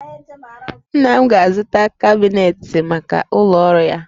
Nna m ga-azụta kabinetị maka ụlọ ọrụ ya